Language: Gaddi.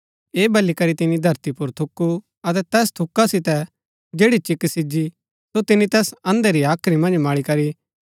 ऐह बली करी तिनी धरती पुर थूकु अतै तैस थूका सितै जैड़ी चिक्क सिजी सो तिनी तैस अंधे री हाख्री मन्ज मळी करी